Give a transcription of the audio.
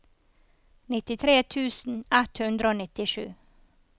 nittitre tusen ett hundre og nittisju